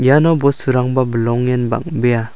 iano bosturangba bilongen bang·bea.